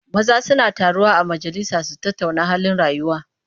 Maza suna taruwa a majalisa su tattauna halin rayuwa.